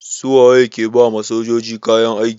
Su waye ke ba ma sojoji kayan aiki?